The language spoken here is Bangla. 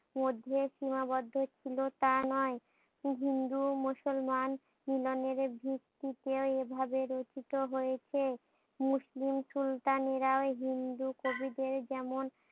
মধ্যে সীমাবদ্ধ ছিল তা নয়, হিন্দু মুসলমান মিলনের ভিত্তিতে এভাবে রেখিত হয়েছে। মুসলিম সুলতানেরাও হিন্দু কবিদের যেমন